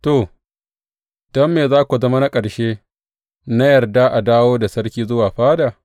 To, don me za ku zama na ƙarshe na yarda a dawo da sarki zuwa fada?’